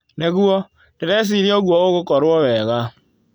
Nĩguo, ndĩreciria ũguo ũgũkorrwo wega.